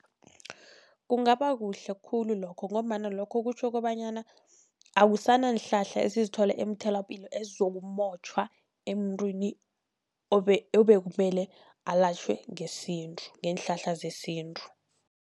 Kungaba kuhle khulu lokho, ngombana lokho kutjho kobanyana akusananhlahla esizithola emtholapilo ezizokumotjhwa emntwini obekumele alatjhwe ngesintu, ngeenhlahla zesintu.